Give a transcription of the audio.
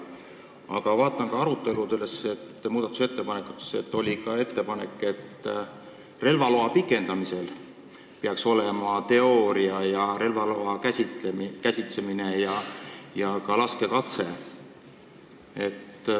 Aga ma vaatan, et muudatusettepanekute hulgas oli ka ettepanek, et relvaloa pikendamisel peaks tegema teooriaeksami, relva käsitsemise katse ja ka laskekatse.